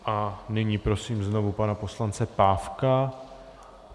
A nyní prosím znovu pana poslance Pávka.